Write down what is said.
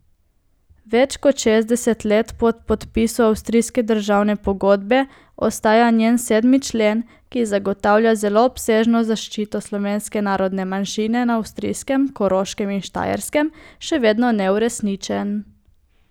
Več kot šestdeset let po podpisu avstrijske državne pogodbe ostaja njen sedmi člen, ki zagotavlja zelo obsežno zaščito slovenske narodne manjšine na avstrijskem Koroškem in Štajerskem, še vedno neuresničen.